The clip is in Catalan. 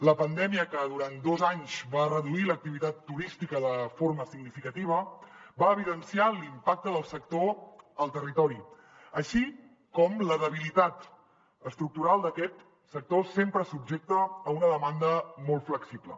la pandèmia que durant dos anys va reduir l’activitat turística de forma significativa va evidenciar l’impacte del sector al territori així com la debilitat estructural d’aquest sector sempre subjecte a una demanda molt flexible